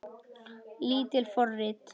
Lítil forrit